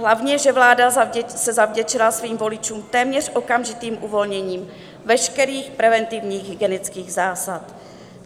Hlavně že vláda se zavděčila svým voličům téměř okamžitým uvolněním veškerých preventivních hygienických zásad.